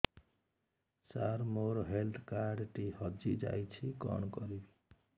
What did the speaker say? ସାର ମୋର health card ଟି ହଜି ଯାଇଛି କଣ କରିବି